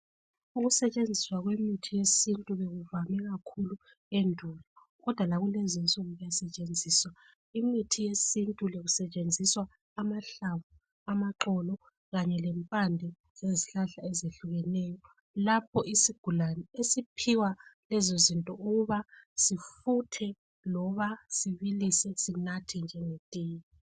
Ukusetshenziswa kwemithi yesiNtu bekuvame kakhulu endulo kodwa lakulezi insuku iyasetshenziswa. Kumithi le kusetshenziswa amahlamvu ,amaxolo kanye lempande zezihlahla ezehlukeneyo lapho isigulane esiphiwa khona lezizinto ukuthi sifuthe kumbe sibilise sinathe njengetiye.